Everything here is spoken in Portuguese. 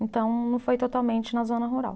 Então, não foi totalmente na zona rural.